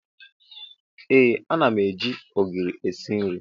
Ee ana m eji ogiri esi nri.